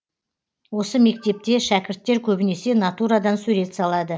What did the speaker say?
осы мектепте шәкірттер көбінесе натурадан сурет салады